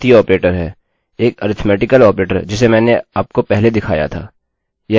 यह एक गणितीय ऑपरेटर है किन्तु सही नाम अरिथ्मेटिक है